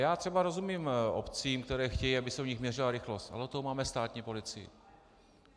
Já třeba rozumím obcím, které chtějí, aby se u nich měřila rychlost, ale od toho máme státní policii.